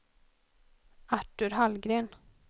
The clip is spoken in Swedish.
Artur Hallgren